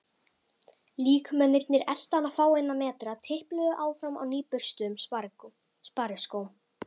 Líkmennirnir eltu hann fáeina metra, tipluðu áfram á nýburstuðum spariskóm.